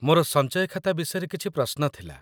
ମୋର ସଞ୍ଚୟ ଖାତା ବିଷୟରେ କିଛି ପ୍ରଶ୍ନ ଥିଲା